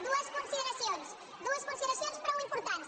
dues consideracions dues consideracions prou importants